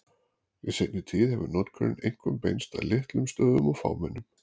Í seinni tíð hefur notkunin einkum beinst að litlum stöðum og fámennum.